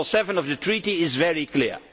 Article 7 of the Treaty is very clear.